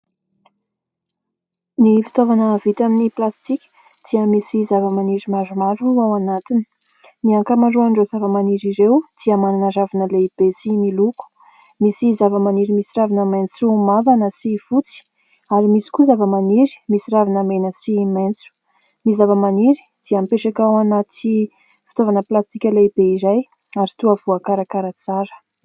Ny fitaovana vita amin'ny plastika dia misy zava-maniry maromaro ao anatiny. Ny ankamaroan'ireo zava-maniry ireo dia manana ravina lehibe sy miloko. Misy zava-maniry misy ravina maitso mavana sy fotsy ary misy koa zava-maniry misy ravina mena sy maitso. Ny zava-maniry dia mipetraka ao anaty fitaovana plastika lehibe iray ary toa voakarakara tsara.